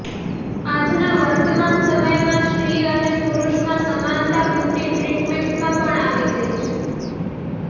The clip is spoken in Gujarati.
આજના વર્તમાન સમયમાં સ્ત્રી અને પુરૂષમાં સમાનતા બ્યુટી ટ્રીટમેન્ટમાં પણ આવી ગઇ છે